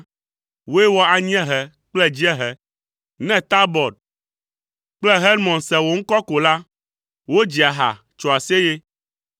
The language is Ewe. Wòe wɔ anyiehe kple dziehe; ne Tabɔr kple Hermon se wò ŋkɔ ko la, wodzia ha, tsoa aseye.